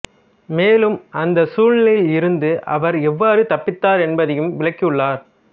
மேலும் அந்த சூழ்நிலையிலிருந்து அவர் எவ்வாறு தப்பித்தார் என்பதையும் விளக்கியுள்ளார்